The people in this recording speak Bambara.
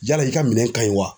Yala i ka minɛn ka ɲi wa?